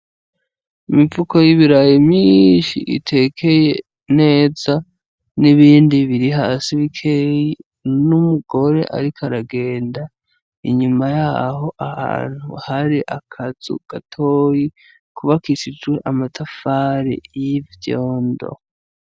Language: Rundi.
Imifuko y'ibirayi mwinshi itekeye neza, n'ibindi biri hasi bikeyi, n'umugore ariko aragenda, inyuma yaho, ahantu hari akazu gatoyi kubakishijwe amatafari y'ivyondo.